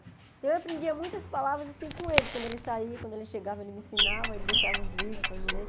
Então, eu aprendia muitas palavras assim com ele, porque quando ele saía, quando ele chegava, ele me ensinava, ele deixava os livros para eu ler.